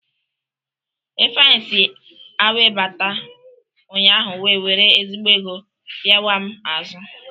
Ifeanyị si awe bata ụnyahụ wee were ezigbo ego pịawaa m azụ.